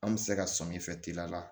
An bɛ se ka sɔmin fɛn teliya la